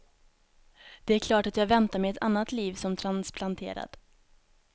Det är klart att jag väntar mig ett annat liv som transplanterad.